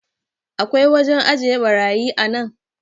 akwai wajen ajiye barayi a nan?